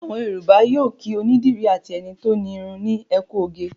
Àwọn Yorùbá yóò kí onídìrí àti ẹni tó ń irun ní "ẹ kú oge".